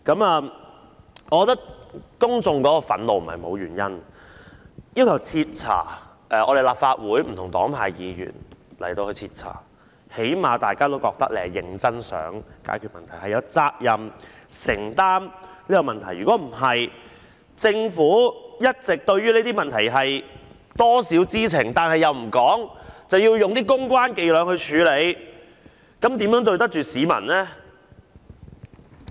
我覺得公眾憤怒並非沒有原因，由立法會不同黨派議員徹查事件，最低限度大家也覺得政府是認真想解決問題和承擔責任，但政府一直對於這些問題或多或少知情，但又不說出來，更用公關伎倆處理，這樣如何對得起市民呢？